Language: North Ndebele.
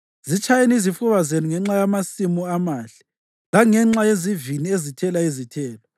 Zitshayeni izifuba zenu ngenxa yamasimu amahle, langenxa yezivini ezithela izithelo,